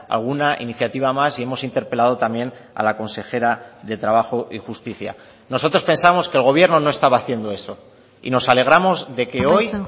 alguna iniciativa más y hemos interpelado también a la consejera de trabajo y justicia nosotros pensamos que el gobierno no estaba haciendo eso y nos alegramos de que hoy